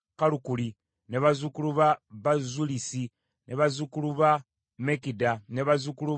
bazzukulu ba Bazulusi, bazzukulu ba Mekida, bazzukulu ba Kalusa,